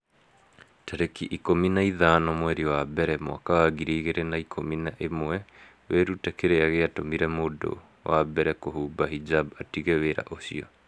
tarĩki ikũmi na ithano mweri wa mbere mwaka wa ngiri igĩrĩ na ikũmi na ĩmweWĩrute kĩrĩa gĩatũmire mũndũ wa mbere kũhumba hijab 'atige wĩra ũcio.